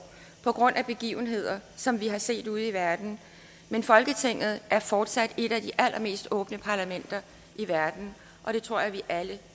på grund af begivenheder som vi har set ude i verden men folketinget er fortsat et af de allermest åbne parlamenter i verden og det tror jeg vi alle